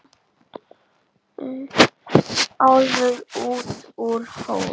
Álfur út úr hól.